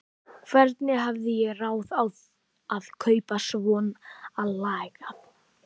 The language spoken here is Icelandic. Hvernig hafði ég ráð á að kaupa svonalagað?